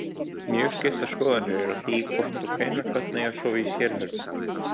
Mjög skiptar skoðanir eru á því hvort og hvenær börn eigi að sofa í sérherbergi.